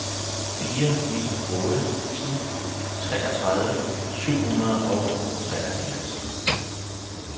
fire ni otte en treogtredive syv hundrede og treoghalvfjerds